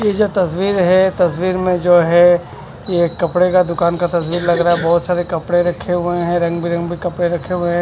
ये जो तस्वीर है ये तस्वीर में जो है ये एक कपड़े का दुकान का तस्वीर लग रहा बहुत सारे कपड़े रखे हुए हैं रंग बिरंगी कपड़े रखे हुए हैं।